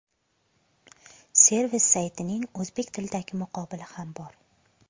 Servis saytining o‘zbek tilidagi muqobili ham bor.